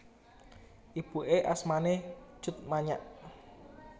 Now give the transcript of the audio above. Ibuké asmané Tjut Manyak